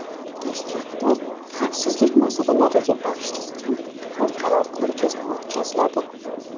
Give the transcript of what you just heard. Toshkentda xavfsizlik masalalariga bag‘ishlangan xalqaro ko‘rgazma o‘tkaziladi.